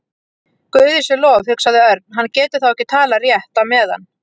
Guði sé lof, hugsaði Örn, hann getur þá ekki talað rétt á meðan.